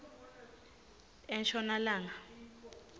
enshonalanga